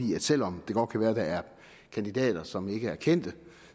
i at selv om det godt kan være at der er kandidater som ikke er kendte